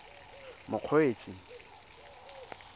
mokgweetsi